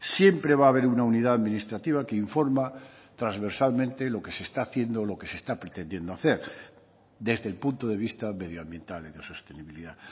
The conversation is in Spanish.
siempre va a haber una unidad administrativa que informa transversalmente lo que se está haciendo lo que se está pretendiendo hacer desde el punto de vista medioambiental y de sostenibilidad